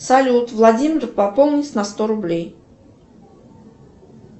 салют владимир пополнить на сто рублей